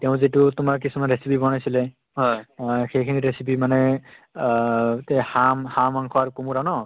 তেওঁ যিটো তোমাৰ কিছুমান recipe বনাইছিলে অ সেইখিনি recipe মানে অ তেওঁ হাঁহ~ হাঁহৰ মাংস আৰু কোমোৰা ন